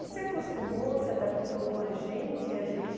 E se acostumou, se adaptou com a gente, e a gente...